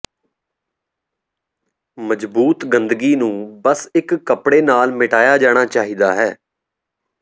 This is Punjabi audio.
ਮਜਬੂਤ ਗੰਦਗੀ ਨੂੰ ਬਸ ਇਕ ਕੱਪੜੇ ਨਾਲ ਮਿਟਾਇਆ ਜਾਣਾ ਚਾਹੀਦਾ ਹੈ